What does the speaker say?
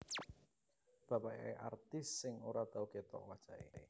Bapake artis sing ora tau ketok wajahe